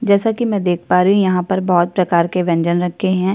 जैसा कि मैं देख पा रही हूँ यहाँ पर बहुत प्रकार के व्यंजन रखे हैं।